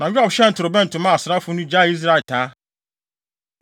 Na Yoab hyɛn torobɛnto, maa asraafo no gyaee Israel taa.